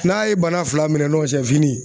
N'a ye bana fila minɛ nɔn sɛ fini